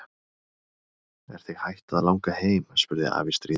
Er þig hætt að langa heim? spurði afi stríðinn.